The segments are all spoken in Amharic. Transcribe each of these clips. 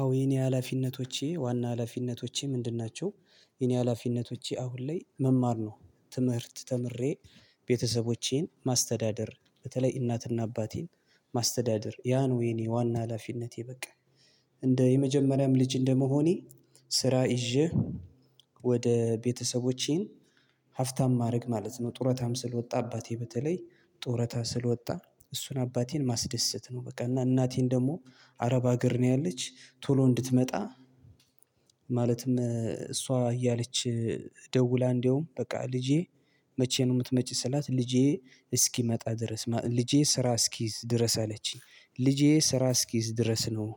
አዎ የኔ ሀላፊነቶቼ ዋና ሀላፊነቶቼ ምንድን ናቸው? የኔ ሀላፊነቶቼ አሁን ላይ መማር ነው። ትምህርት ተምሬ ቤተሰቦቼን ማስተዳደር በተለይ እናትና አባቴን። ማስተዳደር ያ ነው የኔ ዋና ሀላፊነቴ። በቃ እንደ የመጀመሪያም ልጅ እንደመሆኔ ስራ ይዤ ወደ ቤተሰቦቼን ሀብታም ማድረግ ማለት ነው። ጡረታም ስለወጣ አባቴ በተለይ ጡረታ ስለወጣ እሱን አባቴን ማስደሰት ነው። በቃ እና እናቴን ደግሞ አረብ ሀገር ነው ያለች ቶሎ እንድትመጣ። ማለትም እሷ እያለች ደውላ እንደውም በቃ ልጄ መቼ ነው? የምትመጪ ስላት ልጄ እስኪመጣ ድረስ ልጄ ስራ እስኪይዝ ድረስ አለችኝ ልጄ ስራ እስኪይዝ ድረስ ነው።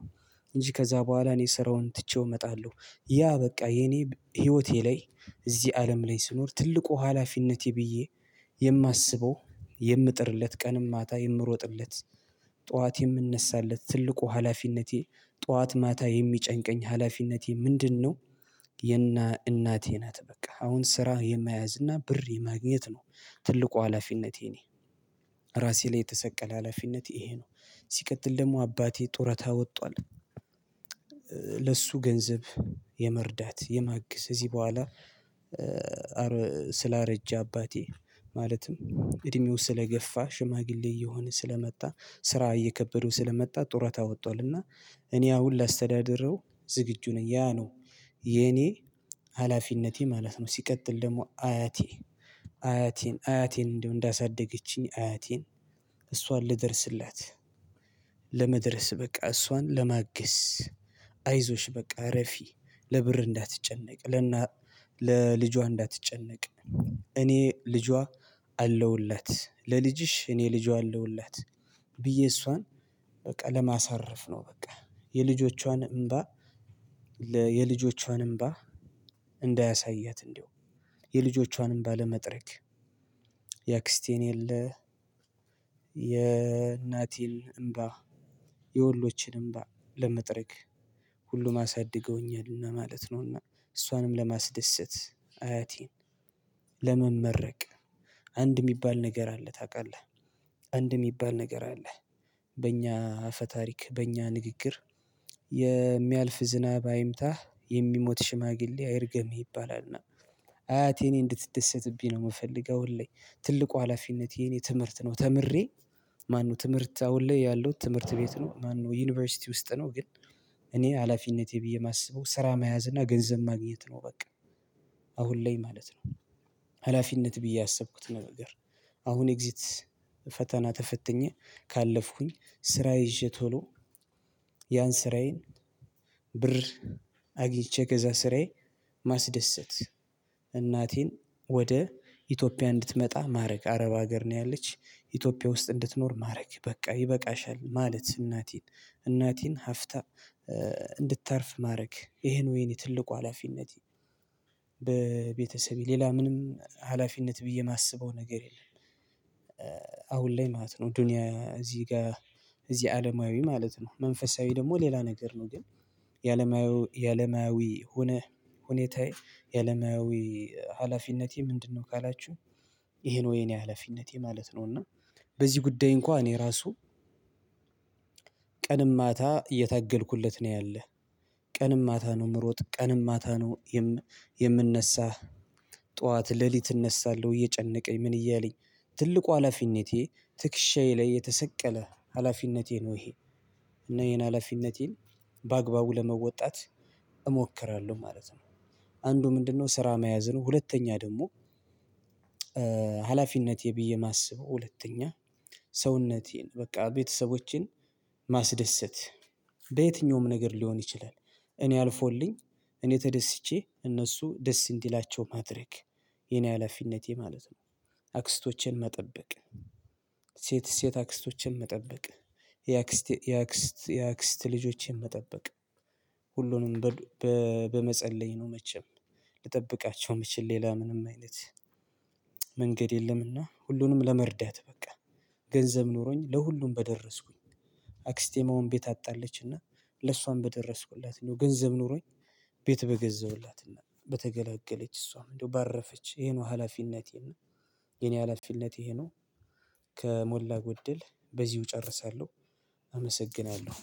እንጂ ከዛ በኋላ እኔ ስራውን ትቼው እመጣለሁ። ያ በቃ የኔ ህይወቴ ላይ እዚህ አለም ላይ ስኖር ትልቁ ሀላፊነቴ ብዬ የማስበው የምጥርለት ቀንም ማታ የምሮጥለት ጠዋት የምነሣለት ትልቁ ሀላፊነቴ። ጠዋት ማታ የሚጨንቀኝ ሀላፊነቴ ምንድነው? የእና እናቴ ናት በቃ አሁን ስራ የማያዝ እና ብር የማግኘት ነው። ትልቁ ሀላፊነቴ የኔ ራሴ ላይ የተሰቀለ ሀላፊነት ይሄ ነው። ሲቀጥል ደግሞ አባቴ ጡረታ ወጧል። ለሱ ገንዘብ የመርዳት የማገዝ እዚህ በኋላ ስላረጀ አባቴ ማለትም እድሜው ስለገፋ ሽማግሌ እየሆነ ስለመጣ ስራ እየከበደው ስለመጣ ጡረታ ወጥቷልና። እኔ አሁን ላስተዳድረው ዝግጁ ነኝ ያ ነው። የኔ ሀላፊነቴ ማለት ነው። ሲቀጥል ደግሞ አያቴ አያቴን አያቴን እንዲሁ እንዳሳደገችኝ አያቴን እሷን ልደርስላት። በቃ እሷን ለማገዝ አይዞሽ በቃ እረፊ ለብር እንዳትጨነቅ ለና ለልጇ እንዳትጨነቅ። እኔ ልጇ አለውላት ለልጅሽ እኔ ልጇ አለውላት ብዬ እሷን በቃ ለማሳረፍ ነው። በቃ የልጆቿን እምባ የልጆቿን እምባ እንዳያሳያት እንደው የልጆቿን እምባ ባለመጥረግ የአክስቴን የለ የእናቴን እምባ የሁሎችን እምባ ለመጥረግ ሁሉም አሳድገውኛል እና ማለት ነውና። እሷንም ለማስደሰት አያቴን ለመመረቅ አንድ የሚባል ነገር አለ ታውቃለህ? አንድ የሚባል ነገር አለ በእኛ አፈ ታሪክ በእኛ ንግግር የሚያልፍ ዝናብ አይምታህ የሚሞት ሽማግሌ አይርገምህ ይባላልና። አያቴን እንድትደሰትብኝ ነው የምፈልገው ሁሌ ትልቁ ሀላፊነት የኔ ትምህርት ነው። ተምሬ ማነው ትምህርት አሁን ላይ ያለው ትምህርት ቤት ነው። ማነው ዩኒቨርሲቲ ውስጥ ነው። ግን እኔ ሀላፊነቴ ብዬ የማስበው ስራ መያዝ እና ገንዘብ ማግኘት ነው። በቃ አሁን ላይ ማለት ነው። ሀላፊነት ብዬ ያሰብኩት ነገር አሁን ኤግዚት ፈተና ተፈትኜ ካለፍኩኝ ስራ ይዤ ቶሎ ያን ስራዬን ብር አግኝቼ ከዚያ ስራዬ ማስደሰት እናቴን ወደ ኢትዮጵያ እንድትመጣ ማድረግ አረብ ሀገር ነው። ያለች ኢትዮጵያ ውስጥ እንድትኖር ማድረግ በቃ ይበቃሻል ማለት እናቴን እናቴን ሀብታ እንድታርፍ ማድረግ ይሄ ነው የእኔ ትልቁ ሀላፊነት። በቤተሰቤ ሌላ ምንም ሀላፊነት ብዬ የማስበው ነገር የለም። አሁን ላይ ማለት ነው ዱንያ እዚህ ጋር እዚህ አለማዊ ማለት ነው መንፈሳዊ ደግሞ ሌላ ነገር ነው። ግን የዓለማዊ የዓለማዊ ሁኔታ የዓለማዊ ሀላፊነቴ ምንድነው? ካላችሁ ይሄ ነው የኔ ሀላፊነቴ ማለት ነው። እና በዚህ ጉዳይ እንኳን እኔ ራሱ ቀንም ማታ እየተገልኩለት ነው ያለህ ቀንም ማታ ነው የምሮጥ ቀንም ማታ ነው። የምንነሣህ ጠዋት ሌሊት እነሳለሁ እየጨነቀኝ ምን እያለኝ ትልቁ ሀላፊነቴ ትክሻዬ ላይ የተሰቀለ ሀላፊነቴ ነው። ይሄ እና ይሄን ሀላፊነቴን በአግባቡ ለመወጣት እሞክራለሁ ማለት ነው። አንዱ ምንድነው? ስራ መያዝ ነው። ሁለተኛ ደግሞ ሀላፊነቴ ብዬ የማስበው ሁለተኛ ሰውነቴን በቃ ቤተሰቦቼን ማስደሰት በየትኛውም ነገር ሊሆን ይችላል። እኔ አልፎልኝ እኔ ተደስቼ እነሱ ደስ እንዲላቸው ማድረግ የኔ ሀላፊነቴ ማለት ነው። አክስቶቼን መጠበቅ ሴት ሴት አክስቶችን መጠበቅ የአክስት የአክስት የአክስት ልጆችን መጠበቅ ሁሉንም በመጸለይ ነው። መቼም ልጠብቃቸው የምችል መቼም ሌላ ምንም አይነት መንገድ የለምና። ሁሉንም ለመርዳት በቃ ገንዘብ ኖሮኝ ለሁሉም በደረስኩኝ ቤት አጣለችና ለሷም በደረስኩላት ገንዘብ ኖሮኝ ቤት በገዛሁላትና በተገላገለች እሷም እንደው ባረፈች ይሄ ነው። ሀላፊነቴን እና የኔ ሀላፊነቴ ይሄ ነው። ከሞላ ጎደል በዚሁ እጨርሳለሁ። አመሰግናለሁ።